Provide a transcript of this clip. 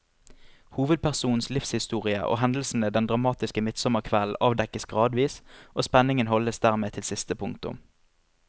Hovedpersonens livshistorie og hendelsene den dramatiske midtsommerkvelden avdekkes gradvis, og spenningen holdes dermed til siste punktum.